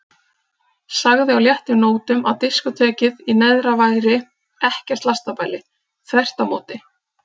Sagði á léttum nótum að diskótekið í neðra væri ekkert lastabæli, þvert á móti.